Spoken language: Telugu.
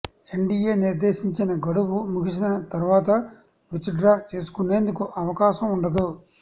ఎన్టిఎ నిర్ధేశించిన గడువు ముగిసిన తర్వాత విత్డ్రా చేసుకునేందుకు అవకాశం ఉండదు